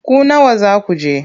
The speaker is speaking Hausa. Ku nawa za ku je?